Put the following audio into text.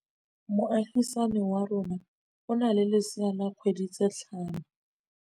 Moagisane wa rona o na le lesea la dikgwedi tse tlhano.